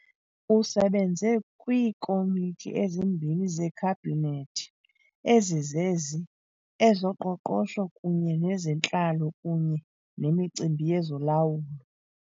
Usebenze kwiiKomiti ezimbini zeKhabhinethi, ezizezi, ezoqoqosho kunye nezentlalo kunye nemicimbi yezolawulo.